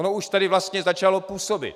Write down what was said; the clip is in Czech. Ono už tady vlastně začalo působit.